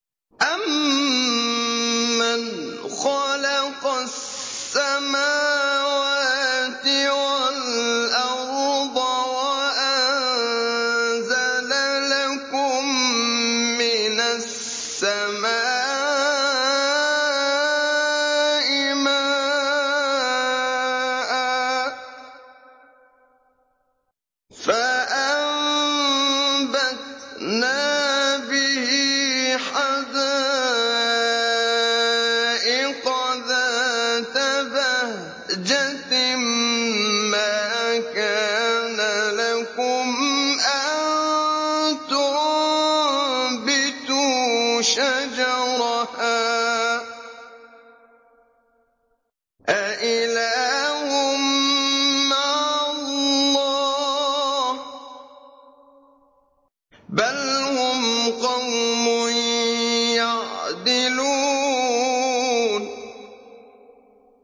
أَمَّنْ خَلَقَ السَّمَاوَاتِ وَالْأَرْضَ وَأَنزَلَ لَكُم مِّنَ السَّمَاءِ مَاءً فَأَنبَتْنَا بِهِ حَدَائِقَ ذَاتَ بَهْجَةٍ مَّا كَانَ لَكُمْ أَن تُنبِتُوا شَجَرَهَا ۗ أَإِلَٰهٌ مَّعَ اللَّهِ ۚ بَلْ هُمْ قَوْمٌ يَعْدِلُونَ